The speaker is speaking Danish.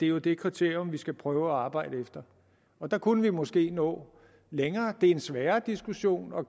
jo det kriterium vi skal prøve at arbejde efter og der kunne vi måske nå længere det er en sværere diskussion og